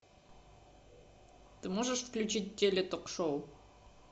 ты можешь включить теле ток шоу